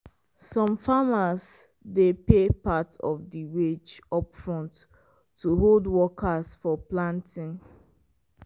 some farmers dey pay part of di wage upfront to hold workers for planting.